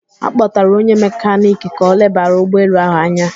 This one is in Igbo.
A kpọtạrạ onye mekaniki ka o lebara ụgbọ elu ahụ anya